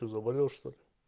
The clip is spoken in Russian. что заболел что-ли